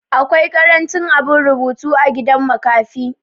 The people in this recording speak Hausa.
awki karancin abin rubutu a gidan makafi